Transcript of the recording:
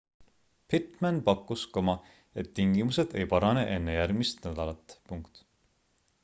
pittman pakkus et tingimused ei parane enne järgmist nädalat